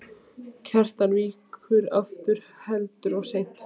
Kjartan víkur aftur og heldur seint.